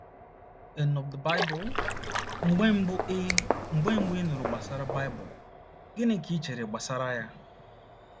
n of the Bible? Mgbe mbụ ị Mgbe mbụ ị nụrụ gbasara Baịbụl, gịnị ka i chere gbasara ya?